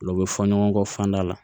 Ulu bɛ fɔ ɲɔgɔn kɔ fanda la